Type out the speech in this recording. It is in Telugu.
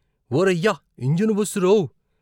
ఓరయ్య ఇంజను బస్సురోవ్. '